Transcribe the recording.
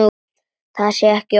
Það sé ekki ofsögum sagt.